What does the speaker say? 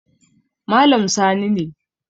Malam Sani ne